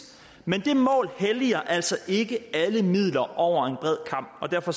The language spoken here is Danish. men det mål helliger altså ikke alle midler over en bred kam og derfor